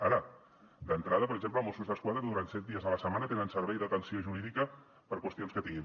ara d’entrada per exemple mossos d’esquadra durant set dies a la setmana tenen servei d’atenció jurídica per qüestions que tinguin